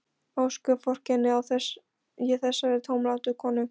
Ósköp vorkenni ég þessari tómlátu konu.